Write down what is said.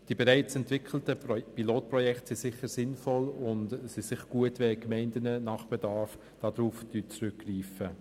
Die bereits entwickelten Pilotprojekte sind sicher sinnvoll, und es ist sicher gut, wenn die Gemeinden bei Bedarf darauf zurückgreifen.